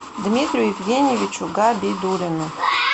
дмитрию евгеньевичу габидуллину